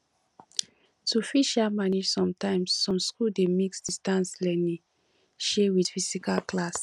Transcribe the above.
to fit um manage sometimes some school dey mix distance learning um with physical class